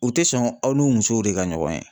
U tɛ sɔn aw n'u musow de ka ɲɔgɔn ye.